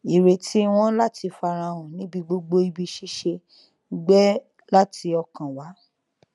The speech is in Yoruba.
ìrètí wọn láti farahàn níbi gbogbo ibi ṣíṣe gbẹ láti ọkàn wá